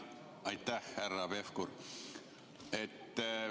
Aitäh, härra Pevkur!